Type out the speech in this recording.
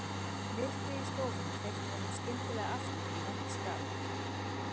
Myrkrið í stofunni hleypti honum skyndilega aftur í vont skap